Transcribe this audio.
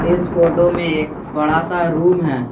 इस फोटो में एक बड़ा सा रूम है।